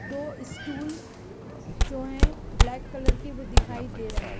दो स्टूल जो हैं ब्लैक कलर के वो दिखाई दे रहें।